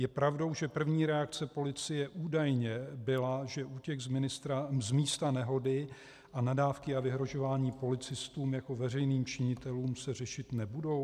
Je pravdou že první reakce policie údajně byla, že útěk z místa nehody a nadávky a vyhrožování policistům jako veřejným činitelům se řešit nebudou?